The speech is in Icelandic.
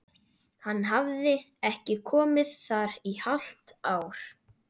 Hann hafði ekki komið þar í hálft ár!